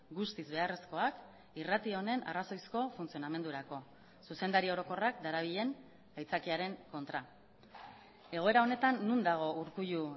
guztiz beharrezkoak irrati honen arrazoizko funtzionamendurako zuzendari orokorrak darabilen aitzakiaren kontra egoera honetan non dago urkullu